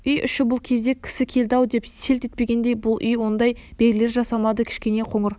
үй іші бұл кезде кісі келді-ау деп селт етпегендей бұл үй ондай белгілер жасамады кішкене қоңыр